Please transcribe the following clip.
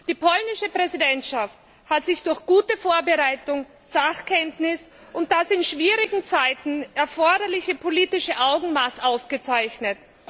Die polnische Präsidentschaft hat sich durch gute Vorbereitung, Sachkenntnis und das in schwierigen Zeiten erforderliche politische Augenmaß ausgezeichnet.